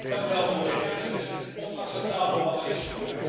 Voorzitter, het is onacceptabel wat er is gebeurd.